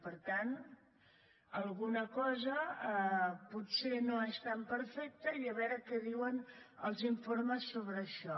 per tant alguna cosa potser no és tan perfecta i a veure què diuen els informes sobre això